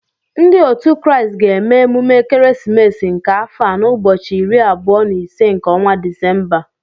Ndị òtu Kraịst ga-eme emume ekeresimesi nke afọ a n'ụbọchị iri abụọ na ise nke ọnwa Disemba